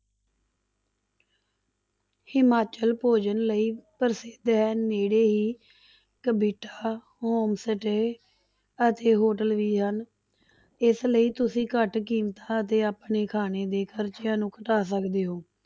ਹਿਮਾਚਲ ਭੋਜਨ ਲਈ ਪ੍ਰਸਿੱਧ ਹੈ ਨੇੜੇ ਹੀ homes ਤੇ ਅਤੇ hotel ਵੀ ਹਨ, ਇਸ ਲਈ ਤੁਸੀਂ ਘੱਟ ਕੀਮਤਾਂ ਤੇ ਆਪਣੇ ਖਾਣੇ ਦੇ ਖ਼ਰਚਿਆਂ ਨੂੰ ਘਟਾ ਸਕਦੇ ਹੋ।